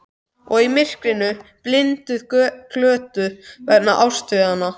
Og ég í myrkrinu, blinduð, glötuð, vegna ástarinnar.